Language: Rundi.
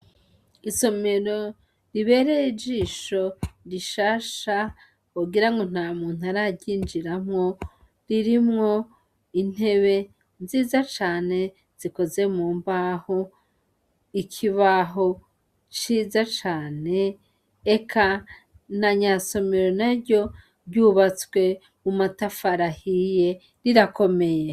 Isomero ribereye ijisho rishasha wogira ngo nta muntu araryinjiramwo ririmwo intebe nziza cane zikoze mu mbaho, ikibaho ciza cane, eka na nyasomero na ryo ryubatswe mu matafari ahiye, rirakomeye.